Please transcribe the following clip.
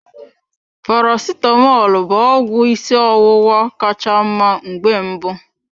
Paracetamọl bụ ọgwụ ịsị ọwụwa ka cha mma mgbe mbụ.